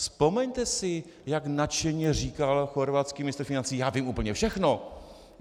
Vzpomeňte si, jak nadšeně říkal chorvatský ministr financí: Já vím úplně všechno.